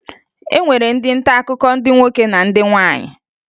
E nwere ndị ntaakụkọ ndị nwoke na ndị nwaanyị